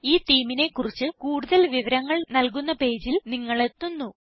ഈ themeനെ കുറിച്ച് കൂടുതൽ വിവരങ്ങൾ നല്കുന്ന പേജിൽ നിങ്ങൾ എത്തുന്നു